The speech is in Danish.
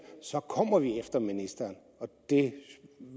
kommer vi efter ministeren det